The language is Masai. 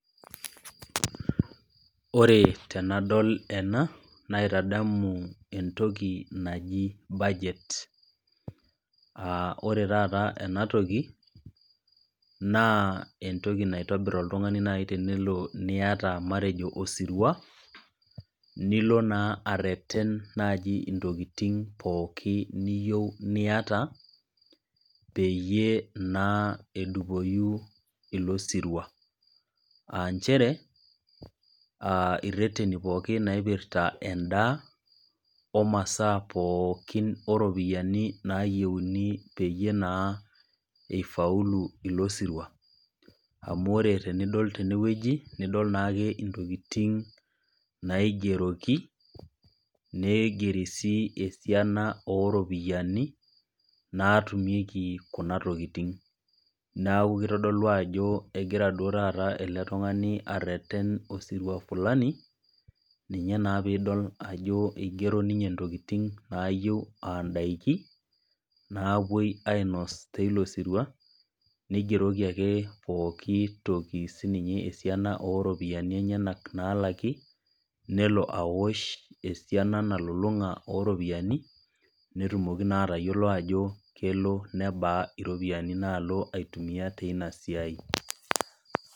Ore tenadol ena, naitadamu entoki naji budget, aa ore taata ena toki, naa entoki naitobir naaji oltung'ani naaji anaa matejo osirua, nilo naa arreten intokitin pookin niyou niata peyie naa edupoyu ilo sirua . Aa nchere ireteni pooki oipirta endaa, omasaa pookin o ropiani naayieuni peyie naa eifaulu ilo sirua. Amu ore tenidol tenewueji nidol naake intokitin naigeroki, neigeri sii esiana oo iropiani, naatumieki kuna tokitin, neaku kkeitodolu jo ore duo taata egira ele tung'ani areten osirua fulani ninye naa piidol ajo eigero ninye intokitin naayiou aa indaiki naapuoi ainos te ilo sirua, neigeroki ake sii ninye pooki toki esiana o ropiani enyenak naalaki, nelo aosh esiana o iropiani aja elaki, netilaki naa atayiolou ajo kelo nabaa iroopiani naalo aitumiya teina siai.